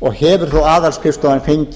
og hefur þó aðalskrifstofan